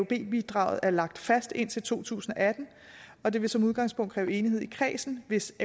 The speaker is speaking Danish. bidraget er lagt fast indtil to tusind og atten og det vil som udgangspunkt kræve enighed i kredsen hvis